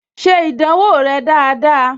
Ṣe ìdánwò rẹ dáadáa!